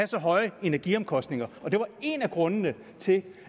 så høje energiomkostninger og det var en af grundene til